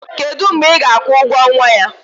kedu mgbe ị na-akwụ ụgwọ nwa ya?